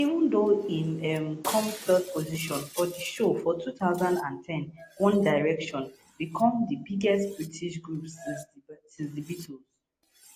even though im um come third position for di show for two thousand and ten one direction become di biggest british group since the beatles